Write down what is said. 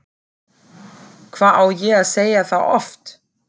Hvað á ég að segja það oft?!